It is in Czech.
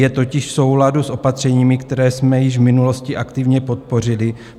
Je totiž v souladu s opatřeními, které jsme již v minulosti aktivně podpořili.